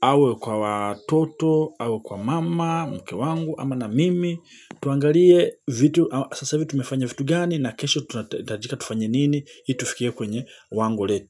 Awe kwa watoto awe kwa mama mke wangu ama na mimi. Tuangalie vitu sasa hivi tumefanya vitu gani na kesho tunahitajika tufanye nini ili tufikie kwenye wango letu.